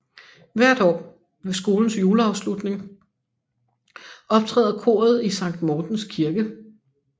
Hvert år ved skolens juleafslutning optræder koret i Sankt Mortens Kirke